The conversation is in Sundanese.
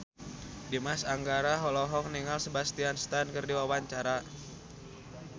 Dimas Anggara olohok ningali Sebastian Stan keur diwawancara